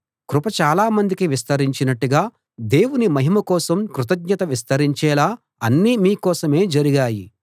కృప చాలామందికి విస్తరించినట్టుగా దేవుని మహిమ కోసం కృతజ్ఞత విస్తరించేలా అన్నీ మీ కోసమే జరిగాయి